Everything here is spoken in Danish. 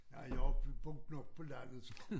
Nej jeg vi boet nok på landet så